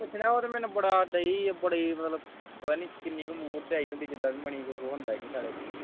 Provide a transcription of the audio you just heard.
ਪੁੱਛ ਡਆ ਉਹ ਤੇ ਮੈਨੂੰ ਕੀ ਬੜੀ ਮਤਲਬ ਪਤਾ ਨਹੀਂ ਕਿੰਨੀ ਕੁ mood ਦੇ ਵਿੱਚ ਆਈ ਹੁੰਦੀ ਹੈ ਬਈ ਜਿਦਾ ਮਣੀ ਕੋਲੋਂ ਕੁੱਝ ਹੁੰਦਾ ਹੀ ਨਹੀਂ ਹੈ ਸਾਲੇ ਕੋਲੋਂ